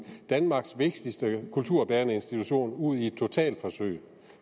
danmarks vigtigste kulturbærende institution ud i et totalforsøg